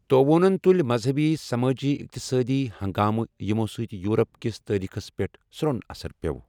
تٔووۄٗنن تُلۍ مذہبی، سمٲجی، اقتصٲدی ہنگامہ یِمو سۭتۍ یورپ کِس تٲریخس پیٹھ سروٚن اثرپیوٚو ۔